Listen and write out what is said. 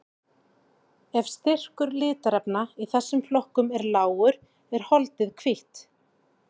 Ef styrkur litarefna í þessum flokkum er lágur er holdið hvítt.